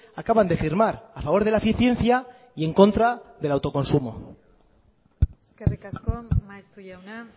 acaban de firmar a favor de la eficiencia y en contra del autoconsumo eskerrik asko maeztu jauna